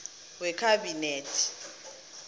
wekhabinethe